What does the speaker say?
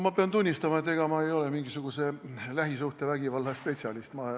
Ma pean tunnistama, et ega ma ei ole mingisugune lähisuhtevägivalla spetsialist.